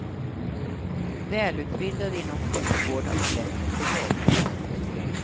Välutbildade inom sjukvården har lätt att få jobb.